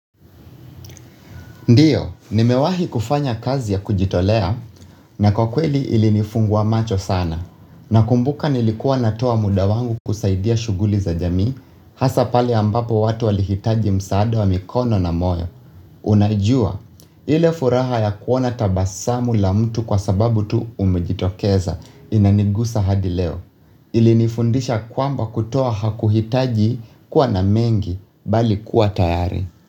Ndiyo, nimewahi kufanya kazi ya kujitolea na kwa kweli ili nifungua macho sana. Nakumbuka nilikuwa natoa muda wangu kusaidia shughuli za jamii hasa pale ambapo watu walihitaji msaada wa mikono na moyo. Unajua, ile furaha ya kuona tabasamu la mtu kwa sababu tu umejitokeza inanigusa hadileo. Ilinifundisha kwamba kutoa hakuhitaji kuwa na mengi bali kuwa tayari.